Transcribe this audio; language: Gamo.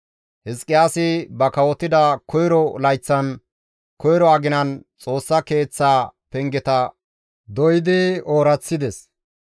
Hizqiyaasi ba kawotida koyro layththan koyro aginan Xoossa Keeththaa pengeta doydi ooraththides.